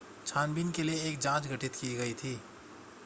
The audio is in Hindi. छानबीन के लिए एक जांच गठित की गई थी